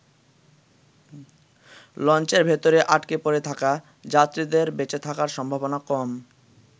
লঞ্চের ভেতরে আটকে পড়ে থাকা যাত্রীদের বেঁচে থাকার সম্ভাবনা কম।